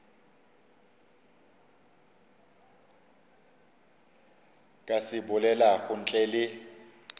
ka se bolelago ntle le